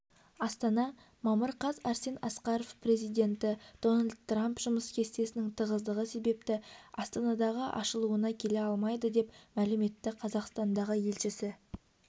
астана мамыр қаз арсен асқаров президенті дональд трамп жұмыс кестесінің тығыздығы себепті астанадағы ашылуына келе алмайды деп мәлім етті қазақстандағы елшісі